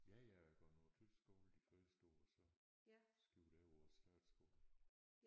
Ja jeg er gået på tysk skole de første år så skiftede jeg over på statsskolen